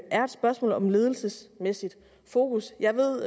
er et spørgsmål om ledelsesmæssigt fokus jeg ved